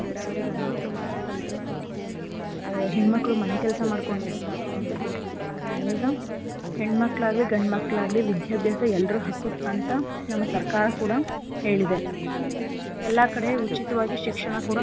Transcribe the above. ಬೇಡ ಬರೀ ಗಂಡ್ ಮಕ್ಳು ಮಾತ್ರ ಕಲ್ತ್ರೆ ಸಾಕು ಆ ಹೆಣ್ ಮಕ್ಳು ಮನೆ ಕೆಲ್ಸ ಮಾಡ್ಕೊಂಡಿದ್ರೆ ಸಾಕು ಅಂತ ಹೇಳ್ತಿದ್ರು . ಆದ್ರೆ ಈಗ ಹೆಣ್ ಮಕ್ಳಾಗ್ಲಿ ಗಂಡ್ ಮಕ್ಳಾಗ್ಲಿ ವಿದ್ಯಾಭ್ಯಾಸ ಎಲ್ರ ಹಕ್ಕು ಅಂತ ನಮ್ ಸರ್ಕಾರ ಕೂಡ ಹೇಳಿದೆ. ಎಲ್ಲಾ ಕಡೆ ಉಚಿತವಾಗಿ ಶಿಕ್ಷಣ ಕೂಡ.